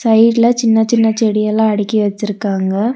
சைடுல சின்ன சின்ன செடியெல்லா அடுக்கி வச்சிருக்காங்க.